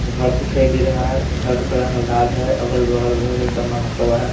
घर दिखाई दे रहा है घर का रंग लाल है अगल-बगल बहुत सामान रखा हुआ है।